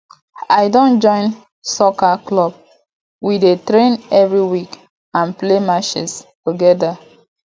i don join soccer club we dey train every week and play matches together